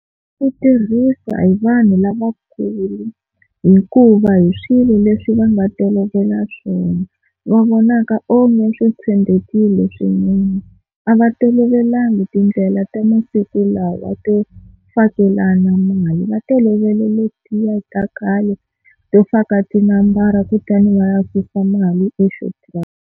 Swi tirhisa hi vanhu lavakulu hikuva hi swilo leswi va nga tolovela swona va vonaka onge swi tshembekile swinene, a va tolovelangi tindlela ta masiku lawa to fakelana mali va tolovele letiya ta khale to faka tinambara kutani va ya susa mali eShoprite.